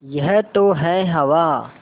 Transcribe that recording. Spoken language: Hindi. यह तो है हवा